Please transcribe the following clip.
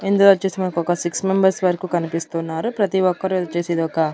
ఇందులోచ్చేసి మనకొక six members వరకు కనిపిస్తున్నారు ప్రతి ఒక్కరూ వచ్చేసి ఇదొక--